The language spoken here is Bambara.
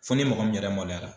Fo ni mɔgɔ min yɛrɛ maloyara.